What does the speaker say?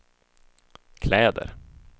kläder